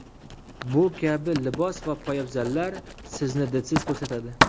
Bu kabi libos va poyabzallar sizni didsiz ko‘rsatadi.